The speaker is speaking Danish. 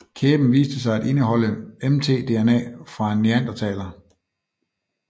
Kæben viste sig at indeholde mtDNA fra en neandertaler